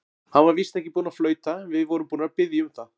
Hann var víst ekki búinn að flauta, en við vorum búnir að biðja um það.